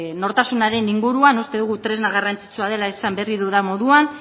nortasunaren inguruan uste dugu tresna garrantzitsua dela esan berri dudan moduan